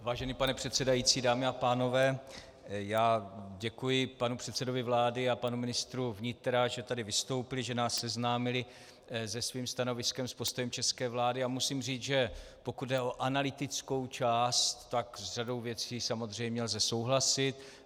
Vážený pane předsedající, dámy a pánové, já děkuji panu předsedovi vlády a panu ministru vnitra, že tady vystoupili, že nás seznámili se svým stanoviskem, s postojem české vlády, a musím říct, že pokud jde o analytickou část, tak s řadou věcí samozřejmě lze souhlasit.